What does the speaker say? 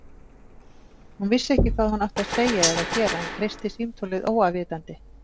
Hún vissi ekki hvað hún átti að segja eða gera en kreisti símtólið óafvitandi.